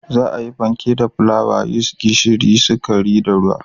Za a yi fanke da fulawa, yis, gishiri, sukari da ruwa.